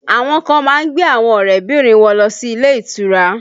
Àwọn kan má ń gbé àwọn ọrẹ bìnrin wọn lọ sí ilé ìtura